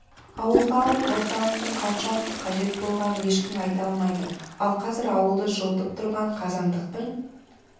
ауылға алып орталықтың қаншалықты қажет болғанын ешкім айта алмайды ал қазір ауылды жылытып тұрған қазандықтың